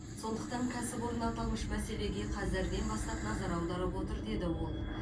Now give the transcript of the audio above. сондықтан кәсіпорын аталмыш мәселеге қазірден бастап назар аударып отыр деді ол